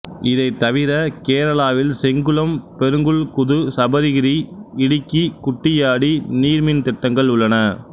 இதைத் தவிர கேரளாவில் செங்குளம் பெரிங்குல் குது சபரிகிரி இடிக்கி குட்டியாடி நீர் மின் திட்டங்கள் உள்ளன